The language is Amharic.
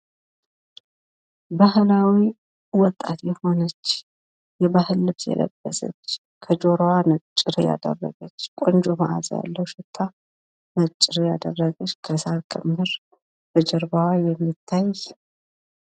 ባህላዊ ወጣት የሆነች ፣የባህል ልብስ የለበሰች ከጆሮዋ ነጭሬ ያደረገች ፣ቆንጆ ማአዛ ያለው ሽታ ነጭሬ ያደረገች ከሣር ክምር ከጀርባዋ የሚታይ